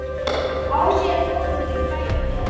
Á sér konu kæra ver.